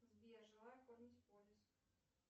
сбер желаю оформить полис